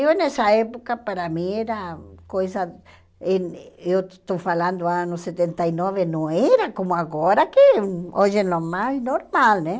Eu nessa época para mim era coisa, eh eu estou falando anos setenta e nove, não era como agora que hoje é normal normal né.